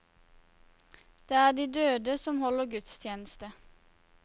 Det er de døde som holder gudstjeneste.